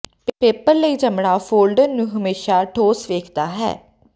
paper ਲਈ ਚਮੜਾ folder ਨੂੰ ਹਮੇਸ਼ਾ ਠੋਸ ਵੇਖਦਾ ਹੈ